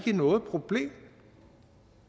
noget problem